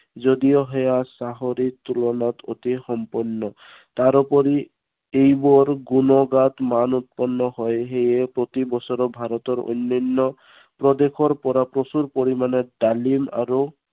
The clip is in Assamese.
যদিও সেয়া চাকৰিৰ তুলনাত অতি সম্পন্ন। তাৰোপৰি, এইবোৰৰ গুণগাত মান উৎপন্ন হয়, সেয়ে প্ৰতি বছৰে ভাৰতৰ অন্য়ান্য়, প্ৰদেশৰ পৰা প্ৰচুৰ পৰিমানে ডালিম আৰু